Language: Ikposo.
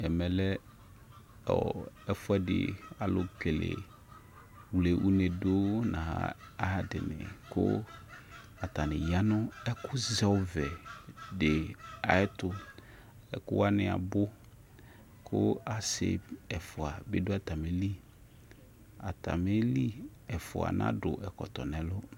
Ɛmɛ lɛ ɛfʋ ɛdι alʋ kele, wle une dʋ nʋ ayʋ adι, kʋ atani ya nʋ ɛkʋ zɛ ɔvɛ dι ayʋ ɛtʋƐkʋ wanι abʋ, kʋ asι, ɛfʋa bι dʋ atamili, ata mi li ɛfʋa nadʋ ɛkɔtɔ nʋ ɛlʋ